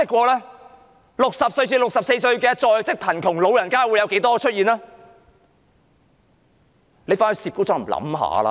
年齡60至64歲的在職貧窮長者有多少人呢？